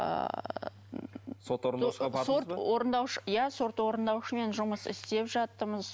ыыы сот орындаушыға сот орындаушы иә сот орындаушымен жұмыс істеп жатырмыз